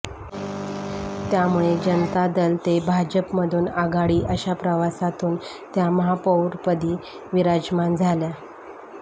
त्यामुळे जनता दल ते भाजपमधून आघाडी अशा प्रवासातून त्या महापौरपदी विराजमान झाल्या